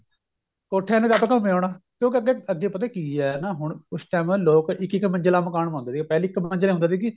ਕੋਠਿਆਂ ਤੇ ਟਪ ਘੁੰਮ ਆਉਣਾ ਕਿਉਂਕਿ ਅੱਗੇ ਅੱਗੇ ਪਤਾ ਕੀ ਏ ਨਾ ਹੁਣ ਉਸ time ਨਾ ਲੋਕ ਇੱਕ ਇੱਕ ਮੰਜਿਲਾ ਮਕਾਨ ਪਾਉਂਦੇ ਸੀ ਪਹਿਲੇ ਇੱਕ ਮੰਜਿਲ ਹੁੰਦਾ ਸੀ ਕੀ